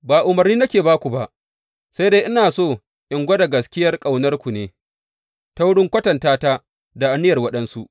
Ba umarni nake ba ku ba, sai dai ina so in gwada gaskiyar ƙaunarku ne, ta wurin kwatanta ta da aniyar waɗansu.